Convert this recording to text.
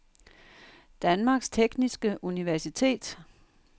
Danmarks Tekniske Universitet